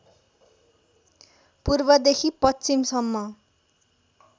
पूर्वदेखि पश्चिमसम्म